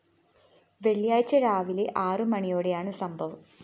വെള്ളിയാഴ്ച രാവിലെ ആറുമണിയോടെയാണ് സംഭവം